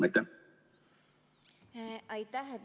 Aitäh!